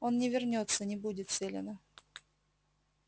он не вернётся не будет селена